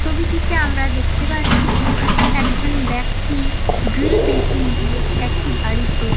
ছবিটিতে আমরা দেখতে পাচ্ছি যে একজন ব্যক্তি ড্রিল মেশিন দিয়ে একটি বাড়িতে--